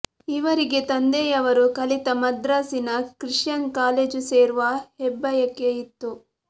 ಇವರಿಗೆ ತಂದೆಯವರು ಕಲಿತ ಮದ್ರಾಸಿನ ಕ್ರಿಶ್ಚನ್ ಕಾಲೇಜು ಸೇರುವ ಹೆಬ್ಬಯಕೆ ಇತ್ತು